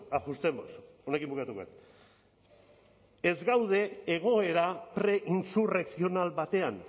ajustemos honekin bukatuko dut ez gaude egoera preinsurrekzional batean